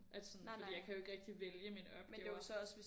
At sådan fordi jeg kan jo ikke rigtig vælge mine opgaver